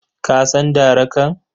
Ka san darakan?